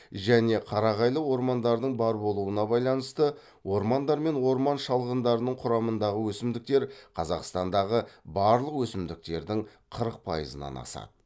және қарағайлы ормандардың бар болуына байланысты ормандар мен орман шалғындарының құрамындағы өсімдіктер қазақстандағы барлық өсімдіктердің қырық пайызынан асады